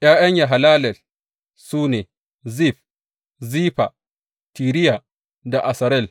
’Ya’yan Yahallelel su ne, Zif, Zifa, Tiriya da Asarel.